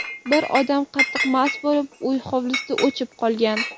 Bir odam qattiq mast bo‘lib uy hovlisida ‘o‘chib’ qolgan.